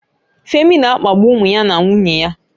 Femi na-akpagbu ụmụ ya na nwunye ya